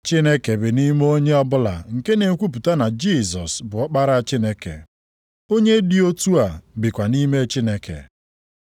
Chineke bi nʼime onye ọbụla nke na-ekwupụta na Jisọs bụ Ọkpara Chineke. Onye dị otu a bikwa nʼime Chineke.